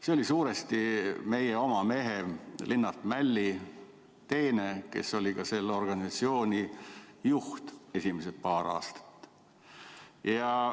See oli suuresti meie oma mehe Linnart Mälli teene, kes oli esimesed paar aastat ka selle organisatsiooni juht.